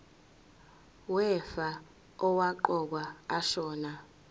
wefa owaqokwa ashona